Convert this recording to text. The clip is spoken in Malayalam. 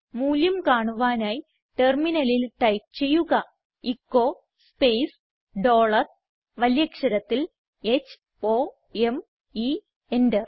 മൂല്യം കാണുവാനായി ടെർമിനലിൽ ടൈപ്പ് ചെയ്യുക എച്ചോ സ്പേസ് ഡോളർ വലിയ അക്ഷരത്തിൽ h o m e enter